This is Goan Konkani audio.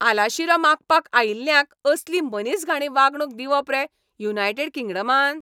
आलाशिरो मागपाक आयिल्ल्यांक असली मनीसघाणी वागणूक दिवप रे युनायडेट किंगडमान?